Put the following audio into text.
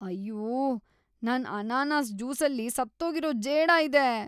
ಅಯ್ಯೂ! ನನ್ ಅನಾನಸ್ ಜ್ಯೂಸಲ್ಲಿ ಸತ್ತೋಗಿರೋ ಜೇಡ ಇದೆ.